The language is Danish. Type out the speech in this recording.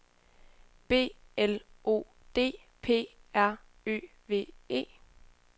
B L O D P R Ø V E